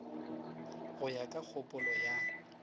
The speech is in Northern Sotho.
go ya ka kgopolo ya